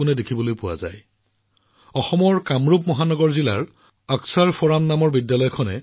এই প্ৰচেষ্টাই গব্বৰ পৰ্বতৰ আকৰ্ষণ বৃদ্ধি কৰাৰ লগতে সমগ্ৰ দেশতে আৱৰ্জনা সম্পদলৈ ৰূপান্তৰ অভিযানৰ বাবেও জনসাধাৰণক অনুপ্ৰাণিত কৰিব